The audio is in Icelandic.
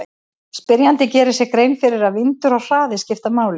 Spyrjandi gerir sér grein fyrir að vindur og hraði skipta máli.